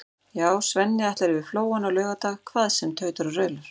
Já, Svenni ætlar yfir Flóann á laugardag hvað sem tautar og raular.